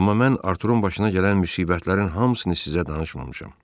Amma mən Artur'un başına gələn müsibətlərin hamısını sizə danışmamışam.